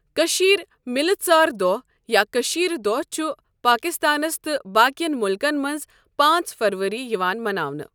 کٔشیٖر مِلہٕ ژار دۄہ یا کٔشیٖر دۄہ چھُ پاکستانس تہٕ باقؠن مُلکَن مَنٛز پانٛژ فَرؤری یِوان مَناونہٕ.